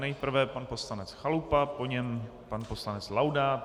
Nejprve pan poslanec Chalupa, po něm pan poslanec Laudát.